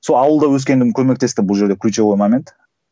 сол ауылда өскенім көмектесті бұл жерде ключевой момент